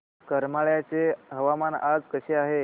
करमाळ्याचे हवामान आज कसे आहे